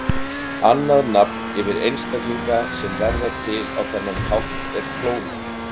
Annað nafn yfir einstaklinga sem verða til á þennan hátt er klónar.